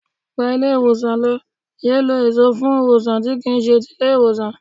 Gba ilé ìwòsàn lọ, yéé lọ èso fún ìwòsàn tí kì í ṣe ti ilé ìwòsàn.